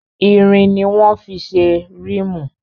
Irin ni wọ́n fí ṣe rímù.